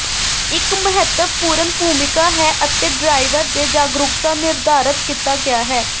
ਇੱਕ ਮਹੱਤਵਪੂਰਨ ਭੂਮਿਕਾ ਹੈ ਅਤੇ ਡਰਾਈਵਰ ਦੇ ਜਾਗਰੂਕਤਾ ਨਿਰਧਾਰਤ ਕੀਤਾ ਗਿਆ ਹੈ